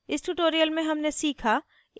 इस tutorial में हमने सीखा